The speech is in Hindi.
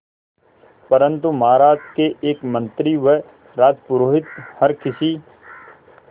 परंतु महाराज के एक मंत्री व राजपुरोहित हर किसी